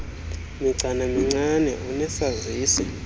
migcana mincinane unesazisi